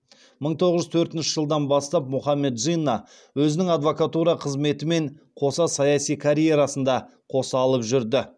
мың тоғыз жүз төртінші жылдан бастап мұхаммед джинна өзінің адвокатура қызметімен қоса саяси карьерасын да қоса алып жүрді